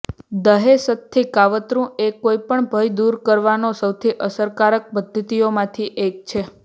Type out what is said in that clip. દહેશતથી કાવતરું એ કોઈ પણ ભય દૂર કરવાના સૌથી અસરકારક પદ્ધતિઓમાંથી એક છે